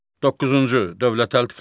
Doqquzuncu dövlət təltifləri.